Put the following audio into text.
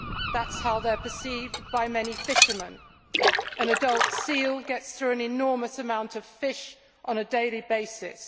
That is how they are perceived by many fishermen an adult seal gets through an enormous amount of fish on a daily basis.